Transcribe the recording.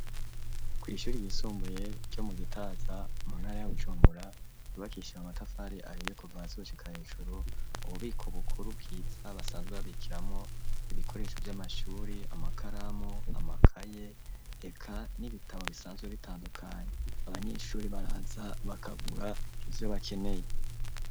Ku ishure yisumbuye ryo mu gitaza muntara ya Bujumbura yubakishije amatafari ahiye kuva hasi gushika hejuru ububiko bukuru bwiza basanzwe babikiramwo ibikoresho vy'amashuri amakaramu, amakaye eka n'ibitabo bisanzwe bitandukanye abanyeshure baraza bakagura ivyo bakeneye.